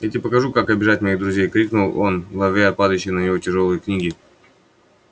я тебе покажу как обижать моих друзей крикнул он ловя падающие на него тяжёлые книги